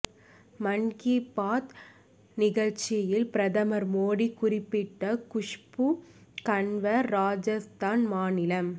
மன் கி பாத் நிகழ்ச்சியில் பிரதமர் மோடி குறிப்பிட்ட குஷ்பு கன்வர் ராஜஸ்தான் மாநிலம்